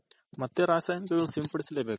ಮತ್ತೆ ರಾಸಾಯನಿಕ ಸಿಂಪಡಿಸಲೇ ಬೇಕು.